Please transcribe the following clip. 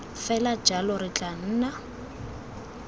fela jalo re tla nna